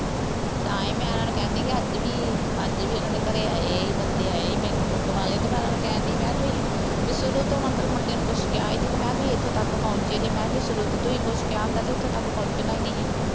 ਤਾਂ ਹੀ ਮੈਂ ਉਨ੍ਹਾ ਨੂੰ ਕਹਿੰਦੀ ਕਿ ਅੱਜ ਵੀ, ਅੱਜ ਵੀ ਉਨ੍ਹਾ ਦੇ ਘਰੇ ਆਏ, ਇਹੀ ਬੰਦੇ ਆਏ, ਬੈਂਕ. ਬੂੰਕ ਵਾਲੇ ਅਤੇ ਮੈਂ ਉਹਨਾ ਨੂੰ ਕਹਿਣ ਦੇਈ, ਮੈਂ ਕਿਹਾ ਤੁਸੀਂ, ਬਈ ਸ਼ੁਰੂ ਤੋਂ ਮਤਲਬ ਮੁੰਡੇ ਨੂੰ ਕੁੱਛ ਕਿਹਾ ਹੀ ਨਹੀਂ ਅਤੇ ਮੈਂ ਕਿਹਾ ਤੁਸੀਂ ਇੱਥੇ ਤੱਕ ਪਹੁੰਚੇ ਜੇ, ਮੈਂ ਕਿਹਾ ਜੇ ਸ਼ੁਰੂ ਤੋਂ ਤੁਸੀਂ ਕੁੱਛ ਕਿਹਾ ਹੁੰਦਾ ਤਾਂ ਇੱਥੇ ਤੱਕ ਪਹੁੰਚਣਾ ਹੀ ਨਹੀਂ